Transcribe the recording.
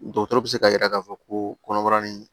Dɔkɔtɔrɔ bɛ se ka yira k'a fɔ ko kɔnɔbara ni